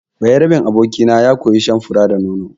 Bayaraben abokina ya koya shan fura da nono.